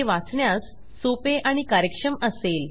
ते वाचण्यास सोपे आणि कार्यक्षम असेल